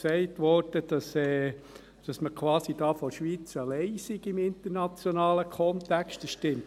Es wurde gesagt, dass die Schweiz im internationalen Kontext quasi alleine sei.